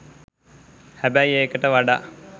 හැබැයි ඒකට වඩා